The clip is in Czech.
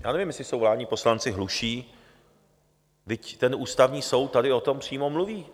Já nevím, jestli jsou vládní poslanci hluší, vždyť ten Ústavní soud tady o tom přímo mluví.